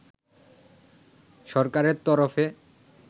সরকারের তরফে